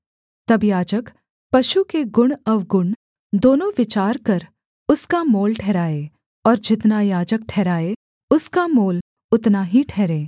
तब याजक पशु के गुणअवगुण दोनों विचार कर उसका मोल ठहराए और जितना याजक ठहराए उसका मोल उतना ही ठहरे